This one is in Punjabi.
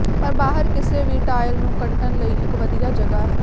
ਪਰ ਬਾਹਰ ਕਿਸੇ ਵੀ ਟਾਇਲ ਨੂੰ ਕੱਟਣ ਲਈ ਇੱਕ ਵਧੀਆ ਜਗ੍ਹਾ ਹੈ